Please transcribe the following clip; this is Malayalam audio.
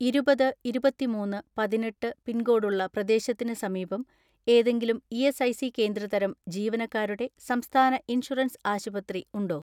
ഇരുപത് ഇരുപത്തിമൂന്ന് പതിനെട്ട് പിൻകോഡുള്ള പ്രദേശത്തിന് സമീപം ഏതെങ്കിലും ഇ.എസ്.ഐ.സി കേന്ദ്ര തരം ജീവനക്കാരുടെ സംസ്ഥാന ഇൻഷുറൻസ് ആശുപത്രി ഉണ്ടോ?